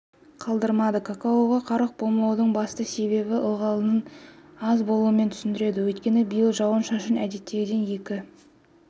қалдырмады какаоға қарық болмаудың басты себебін ылғалдың аз болуымен түсіндіреді өйткені биыл жауын-шашын әдеттегіден екі